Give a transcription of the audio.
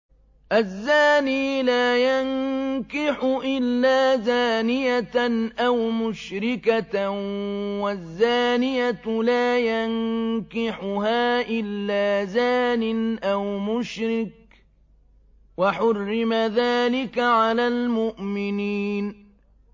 الزَّانِي لَا يَنكِحُ إِلَّا زَانِيَةً أَوْ مُشْرِكَةً وَالزَّانِيَةُ لَا يَنكِحُهَا إِلَّا زَانٍ أَوْ مُشْرِكٌ ۚ وَحُرِّمَ ذَٰلِكَ عَلَى الْمُؤْمِنِينَ